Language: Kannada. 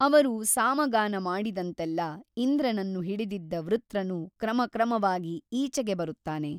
ಅವರು ಸಾಮಗಾನ ಮಾಡಿದಂತೆಲ್ಲ ಇಂದ್ರನನ್ನು ಹಿಡಿದಿದ್ದ ವೃತ್ರನು ಕ್ರಮಕ್ರಮವಾಗಿ ಈಚೆಗೆ ಬರುತ್ತಾನೆ.